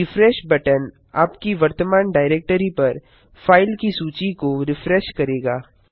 refresh button आपकी वर्तमान directory पर फाइल की सूची को रिफ्रेश करेगा